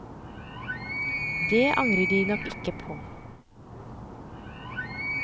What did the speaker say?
Det angret de nok ikke på.